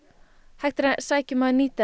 hægt er að sækja um að nýta